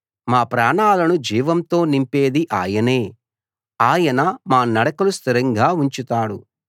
మా ప్రాణాలను జీవంతో నింపేది ఆయనే ఆయన మా నడకలు స్థిరంగా ఉంచుతాడు